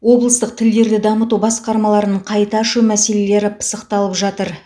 облыстық тілдерді дамыту басқармаларын қайта ашу мәселесі пысықталып жатыр